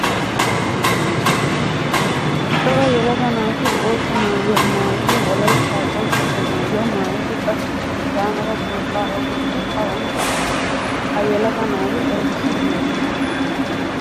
Cora yelaga naati boottaa maayuwaa maayidi wolaytta qonccisiya maayuwaa maayidi qassikka hegamala curqqa oyqqidi awan deiyona? Ha yelaga naati aybissi biidona?